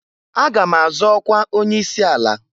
Aga m azọ ọkwa onye isi ala.